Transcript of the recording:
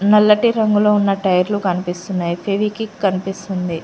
నల్లటి రంగులో ఉన్న టైర్లు కనిపిస్తున్నాయి ఫెవికిక్ కనిపిస్తుంది.